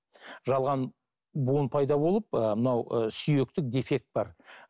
жалған буын пайда болып ы мынау ы сүйекте дефект бар